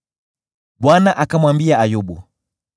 Bwana akamwambia Ayubu: